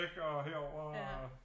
Og herover og